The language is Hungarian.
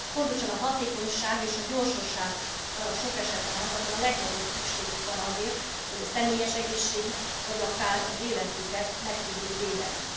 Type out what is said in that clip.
Pontosan a hatékonyság és a gyorsaság sok esetben az, amire a legnagyobb szükségük van azért, hogy a személyes egészségüket, vagy akár az életüket meg tudjuk védeni.